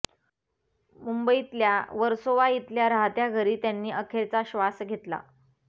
मुंबईतल्या वर्सोवा इथल्या राहत्या घरी त्यांनी अखेरचा श्वास घेतला